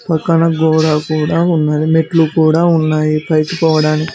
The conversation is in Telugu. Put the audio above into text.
అక్కడ కూడా ఉన్నది మెట్లు కూడా ఉన్నాయి పైకి పోవడానికి.